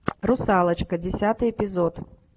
русалочка десятый эпизод